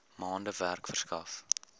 maande werk verskaf